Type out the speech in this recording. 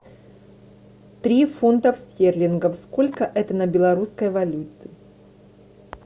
три фунтов стерлингов сколько это на белорусской валюте